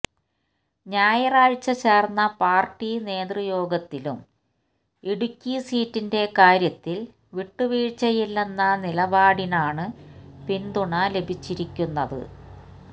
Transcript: ഞായറാഴ്ച ചേര്ന്ന പാര്ട്ടി നേതൃയോഗത്തിലും ഇടുക്കി സീറ്റിന്റെ കാര്യത്തില് വിട്ടു വീഴ്ചയില്ലെന്ന നിലപാടിനാണ് പിന്തുണ ലഭിച്ചിരിക്കുന്നത്